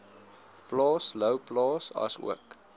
plaas louwplaas asook